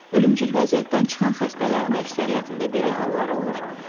Ölümcül vəziyyətdən çıxan xəstələrin əksəriyyətində belə hallar olur.